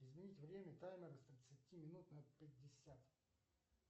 изменить время таймера с тридцати минут на пятьдесят